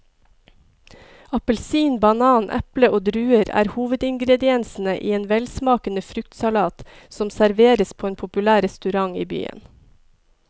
Appelsin, banan, eple og druer er hovedingredienser i en velsmakende fruktsalat som serveres på en populær restaurant i byen.